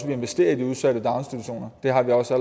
vi investerer i de udsatte daginstitutioner det har vi også